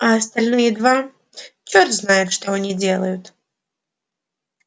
а остальные два черт знает что они делают